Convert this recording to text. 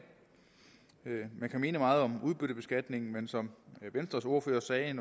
man kan mene meget om udbyttebeskatningen men som venstres ordfører sagde